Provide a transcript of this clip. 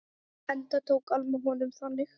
Enda tók Alma honum þannig.